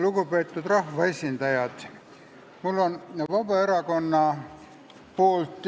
Lugupeetud rahvaesindajad!